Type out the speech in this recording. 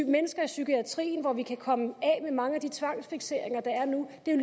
mennesker i psykiatrien hvor vi kan komme af med mange af de tvangsfikseringer der er nu det er